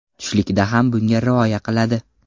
Tushlikda ham bunga rioya qiladi.